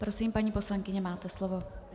Prosím, paní poslankyně, máte slovo.